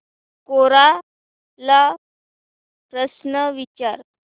कोरा ला प्रश्न विचार